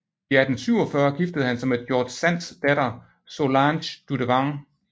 I 1847 giftede han sig med George Sands datter Solange Dudevant